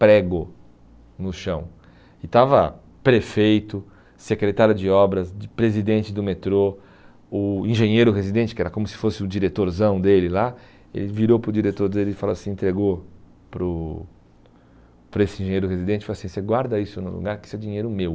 prego no chão e estava prefeito, secretário de obras, de presidente do metrô, o engenheiro residente, que era como se fosse o diretorzão dele lá, ele virou para o diretor dele e falou assim, entregou para o para esse engenheiro residente e falou assim, você guarda isso no lugar que isso é dinheiro meu.